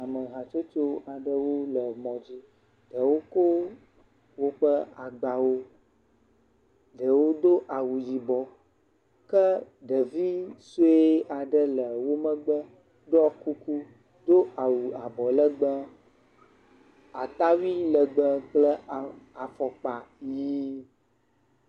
Ame hatsotso aɖewo le mɔ dzi. Ɖewo ko woƒe agbawo, ɖewo do awu yibɔ ke ɖevi sue aɖe le wo megbe ɖɔ kuku, do awu abɔlegbe, atawui legbe kple afɔkpa yi.